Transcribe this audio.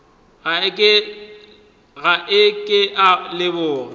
ga a ke a leboga